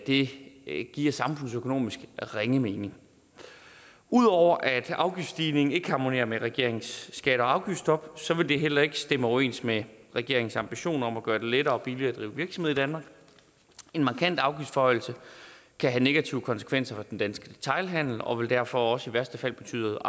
det giver samfundsøkonomisk ringe mening ud over at afgiftsstigningen ikke harmonerer med regeringens skatte og afgiftsstop vil det heller ikke stemme overens med regeringens ambition om at gøre det lettere og billigere at drive virksomhed i danmark en markant afgiftsforhøjelse kan have negative konsekvenser for den danske detailhandel og vil derfor også i værste fald betyde